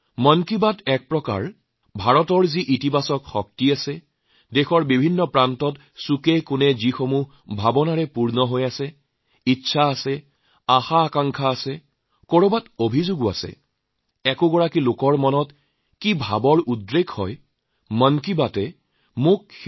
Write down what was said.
মন কী বাতৰ জৰিয়তে দেশৰ চুকেকোনে থকা লোকসকলৰ চিন্তাভাৱনা ইচ্ছাআগ্ৰহ অভিযোগযাৰ যেনেকুৱা মনোভাৱ ইত্যাদি প্ৰতিফলিত কৰিব পৰাকৈ এক ইতিবাচক শক্তিত পৰিণত হৈছে